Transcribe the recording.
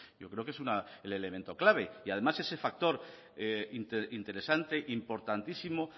yo creo que es el elemento clave y además ese factor interesante importantísimo